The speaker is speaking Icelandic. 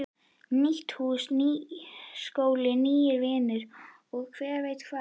Nýtt hús, nýr skóli, nýir vinir og hver veit hvað.